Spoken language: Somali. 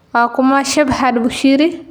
Waa kuma Shepherd Bushiri?